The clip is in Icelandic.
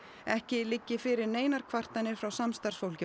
ekki liggi fyrir neinar kvartanir frá samstarfsfólki